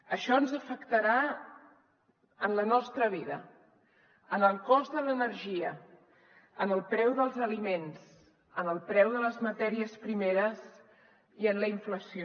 això ens afectarà en la nostra vida en el cost de l’energia en el preu dels aliments en el preu de les matèries primeres i en la inflació